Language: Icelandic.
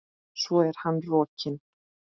Svo er hann rokinn.